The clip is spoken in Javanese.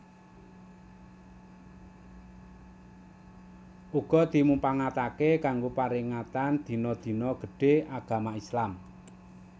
Uga dimupangatake kanggo paringatan dina dina gedhé Agama Islam